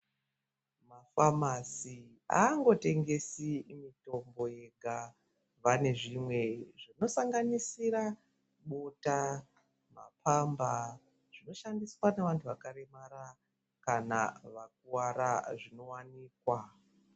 Mafamasi haangotengesi mitombo yega panezvimwe zvino sanganisira bota mapamba zvinoshandiswa nevanhu vakaremara kana vakakuwara zvino wanikwa.